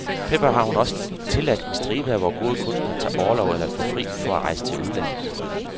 Derfor har hun også tilladt en stribe af vores gode kunstnere at tage orlov eller at få fri for at rejse til udlandet.